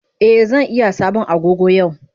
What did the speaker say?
Eh zan iya sabon Agogo yau.